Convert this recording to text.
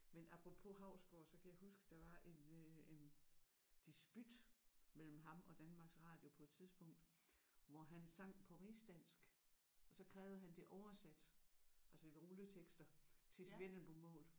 Man apropos Hausgaard så kan jeg huske der var en øh en disput mellem ham og Danmarks Radio på et tidspunkt hvor han sang på rigsdansk og så krævede han det oversat altså ved rulletekster til vendelbomål